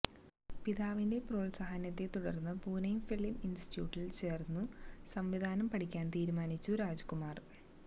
പിതാവിന്റെ പ്രോത്സാഹനത്തെ തുടര്ന്ന് പൂനെ ഫിലിം ഇന്സ്റ്റിറ്റിയൂട്ടില് ചേര്ന്നു സംവിധാനം പഠിക്കാന് തീരുമാനിച്ചു രാജ്കുമാര്